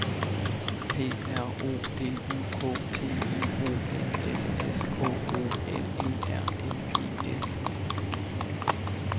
P R O D U K T I O N S S K O L E R N E S